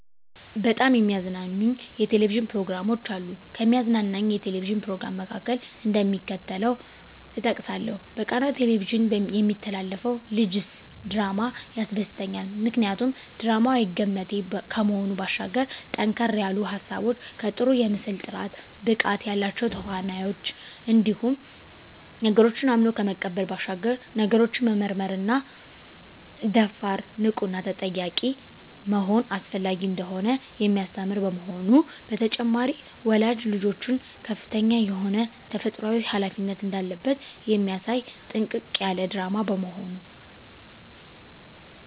በጣም የሚያዝናኑኝ የ"ቴሌቪዥን" ፕሮግራሞች አሉ፣ ከሚያዝናናኝ የ"ቴሌቪዥን" "ፕሮግራም" መካከል፣ እደሚከተለው እጠቅሳለሁ በቃና "ቴሌቪዥን" የሚተላለፈው ልጀስ ድራማ ያስደስተኛል። ምክንያቱ ድራማው አይገመቴ ከመሆኑ ባሻገር ጠንከር ያሉ ሀሳቦች ከጥሩ የምስል ጥራት፣ ብቃት ያላቸው ተዋናኞች እንዲሁም ነገሮችን አምኖ ከመቀበል ባሻገር ነገሮችን መመርመርና ደፋር፣ ንቁና ጠያቂ መሆን አስፈላጊ እንደሆነ የሚያስተምር በመሆኑ። በተጨማሪም ወላጅ ልጆቹ ከፍተኛ የሆነ ተፈጥሮአዊ ሀላፊነት እንዳለበት የሚያሳይ ጥንቅቅ ያለ ድራማ በመሆኑ።